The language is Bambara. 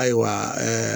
Ayiwa